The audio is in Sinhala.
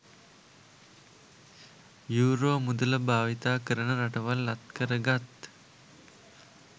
යූරෝ මුදල භාවිතා කරන රටවල් අත් කර ගත්